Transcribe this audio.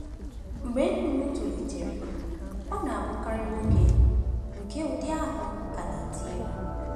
Mgbe nnụnụ tolitere, ọ na-abụkarị nwoke nke ụdị ahụ ka na-eti egwu.